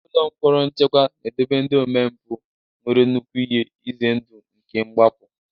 Ụlọ mkpọrọ nchekwa na-edobe ndị omempụ nwere nnukwu ihe ize ndụ nke mgbapụ.